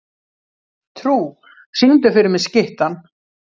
Trú, syngdu fyrir mig „Skyttan“.